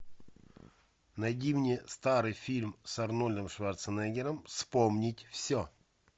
найди мне старый фильм с арнольдом шварценеггером вспомнить все